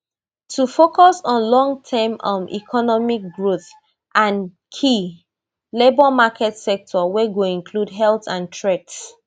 to focus on longterm um economic growthand key labour market sectors wey go include health and trades